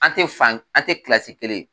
An tɛ fan an tɛ kilasi kelen